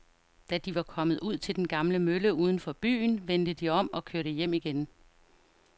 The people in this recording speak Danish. Da de var kommet ud til den gamle mølle uden for byen, vendte de om og kørte hjem igen.